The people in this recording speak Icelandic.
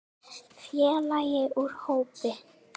Félagi úr hópi